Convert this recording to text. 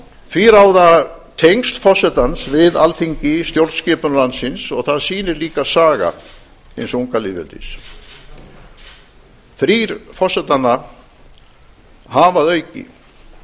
því ráða tengsl forsetans við alþingi í stjórnskipun landsins og það sýnir líka saga hins unga lýðveldis þrír forsetanna hafa